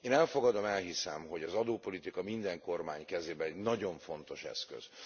Én elfogadom, elhiszem, hogy az adópolitika minden kormány kezében egy nagyon fontos eszköz.